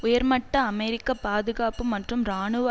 உயர்மட்ட அமெரிக்க பாதுகாப்பு மற்றும் இராணுவ